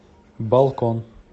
балкон